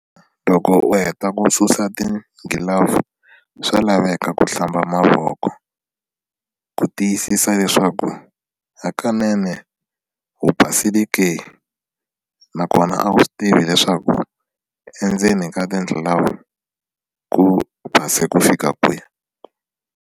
Loko u heta ku susa tigilavu swa laveka ku hlamba mavoko ku tiyisisa leswaku hakunene u basile ke nakona a wu swi tivi leswaku endzeni ka tigilavu ku basa ku fika kwihi.